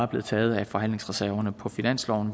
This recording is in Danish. blevet taget af forhandlingsreserverne på finansloven